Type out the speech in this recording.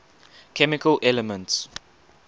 chemical elements